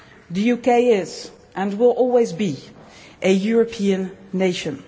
The UK is, and will always be, a European nation.